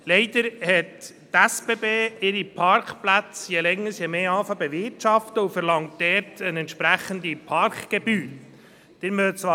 Leider begann die SBB ihre Parkplätze je länger je mehr zu bewirtschaften und eine entsprechende Parkgebühr zu verlangen.